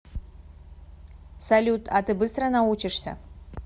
салют а ты быстро научишься